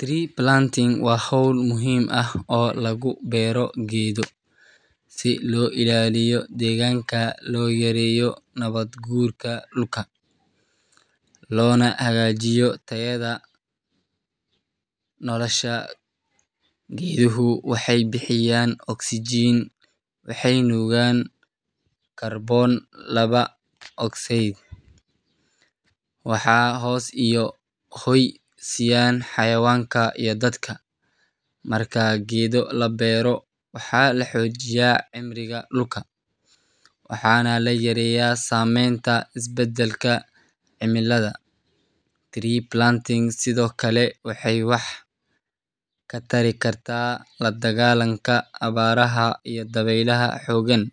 Tree planting waa hawl muhiim ah oo lagu beero geedo si loo ilaaliyo deegaanka, loo yareeyo nabaadguurka dhulka, loona hagaajiyo tayada nolosha. Geeduhu waxay bixiyaan oksijiin, waxay nuugaan kaarboon laba ogsaydh, waxayna hoos iyo hoy siiyaan xayawaanka iyo dadka. Marka geedo la beero, waxa la xoojiyaa cimriga dhulka, waxaana la yareeyaa saamaynta isbeddelka cimilada. Tree planting sidoo kale waxay wax ka tari kartaa la dagaallanka abaaraha iyo dabaylaha xooggan,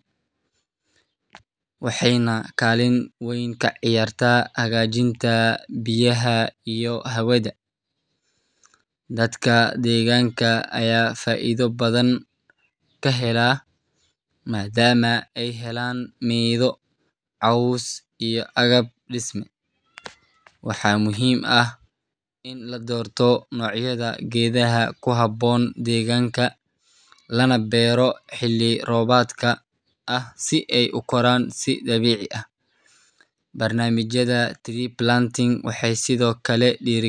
waxayna kaalin weyn ka ciyaartaa hagaajinta biyaha iyo hawada. Dadka deegaanka ayaa faa’iido badan ka hela, maadaama ay helaan midho, caws, iyo agab dhisme. Waxaa muhiim ah in la doorto noocyada geedaha ku habboon deegaanka, lana beero xilli roobaadka ah si ay u koraan si dabiici ah. Barnaamijyada tree planting waxay sidoo kale dhiirrigeliyaan.